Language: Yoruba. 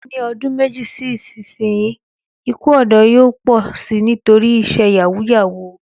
Ní odún méjì sí ìsinyìí, ikú òdó yóò pò si nítorí isé yàwúù-yàwuù